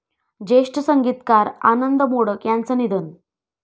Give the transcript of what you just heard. ज्येष्ठ संगीतकार आनंद मोडक यांचं निधन